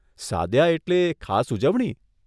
સાદ્યા એટલે ખાસ ઉજવણી?